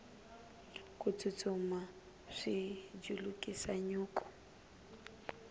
ku tsutsuma swi julukisa nyuku